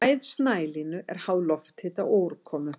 Hæð snælínu er háð lofthita og úrkomu.